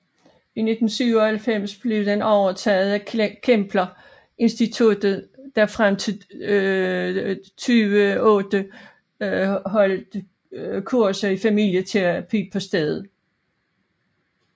I 1997 blev den overtaget af Kempler Instituttet der frem til 2008 holdt kurser i familieterapi på stedet